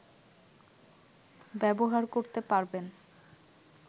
ব্যবহার করতে পারবেন